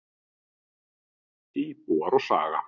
Íbúar og saga.